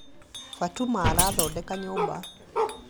fatuma arathodeka nyũmba